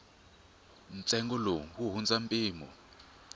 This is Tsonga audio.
ntsengo lowu wu hundza mpimo